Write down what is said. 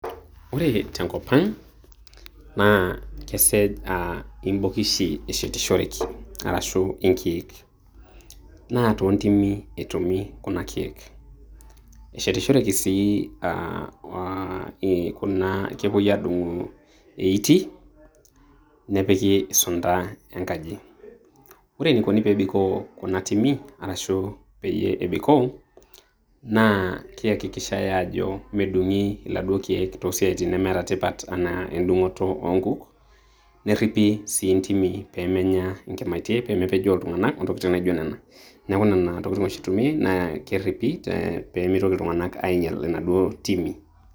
Ore tenkop ang',na kesej aa ibokishi eshetishoreki, arashu inkeek. Naa toontimi etumi kuna keek. Eshetishoreki sii, ah kuna kepoi adung'u eitii, nepiki sunta enkaji. Ore enikoni pebikoo kuna timi arashu peyie ebikoo, na keakikishai aajo medung'i iladuo keek tenemeeta tipat enaa edung'oto oonkuk, nerripi si intimi pemenya inkimaitie, pemepejoo iltung'anak ontokiting' naijo nena. Neeku nena tokiting' oshi eitumiai na kerripi pemitoki iltung'anak ainyal inaduo timi.